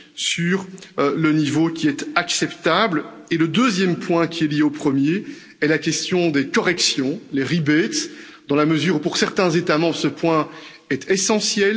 différentes opinions sur le niveau qui est acceptable. Et le deuxième point, qui est lié au premier, est la question des corrections, les rebates, dans la mesure où, pour certains États membres, ce